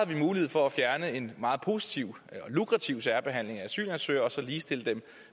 vi mulighed for at fjerne en meget positiv lukrativ særbehandling af asylansøgere og så ligestille dem